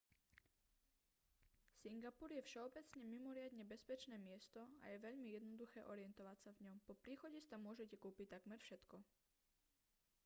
singapur je všeobecne mimoriadne bezpečné miesto a je veľmi jednoduché orientovať sa v ňom po príchode si tam môžete kúpiť takmer všetko